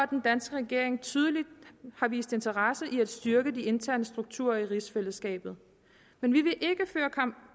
den danske regering tydeligt har vist interesse i at styrke de interne strukturer i rigsfællesskabet men vi